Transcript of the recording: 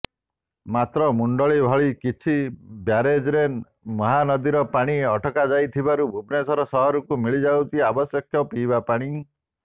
ମାତ୍ର ମୁଣ୍ଡଳୀ ଭଳି କିଛି ବ୍ୟାରେଜ୍ରେ ମହାନଦୀର ପାଣି ଅଟକାଯାଇଥିବାରୁ ଭୁବନେଶ୍ୱର ସହରକୁ ମିଳିଯାଉଛି ଆବଶ୍ୟକ ପିଇବା ପାଣି